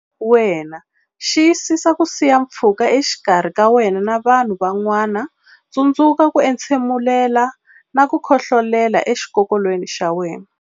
Wena Xiyisisa ku siya pfhuka exikarhi ka wena na vanhu van'wana Tsundzuka ku entshemula na ku khohlolela exikokolweni xa wena.